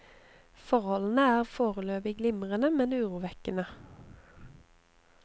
Forholdene er foreløpig glimrende, men urovekkende.